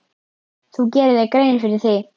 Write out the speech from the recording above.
Þú gerir þér grein fyrir því.